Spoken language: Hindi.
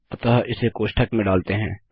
अतः इसे कोष्ठक में डालते हैं